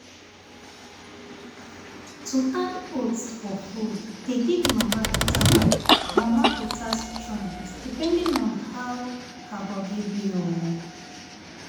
to add oats for food dey give mama better mama better strength depending on how her body be o.